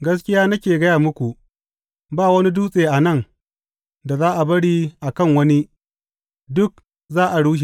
Gaskiya nake gaya muku, ba wani dutse a nan da za a bari a kan wani; duk za a rushe.